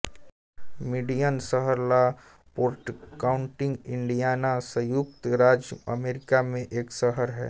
Michigan शहर La Porte county Indiana संयुक्त राज्य अमेरिका में एक शहर है